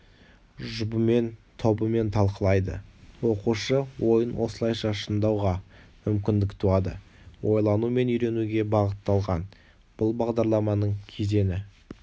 жұбымен тобымен талқылайды оқушы ойын осылайша шыңдауға мүмкіндік туады ойлану мен үйренуге бағытталған бұл бағдарламаның кезеңі